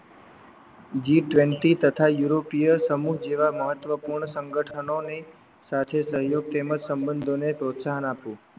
g twenty તથા યુરોપીય સમૂહ જેવા મહત્વ પૂર્ણ સંગઠનોને સાથે સહયોગ તેમજ સંબંધો ને પ્રોત્સાહન આપવું